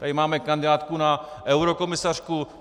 Tady máme kandidátku na eurokomisařku.